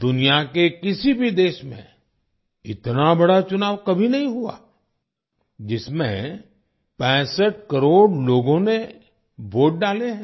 दुनिया के किसी भी देश में इतना बड़ा चुनाव कभी नहीं हुआ जिसमें 65 करोड़ लोगों ने वोट डाले हैं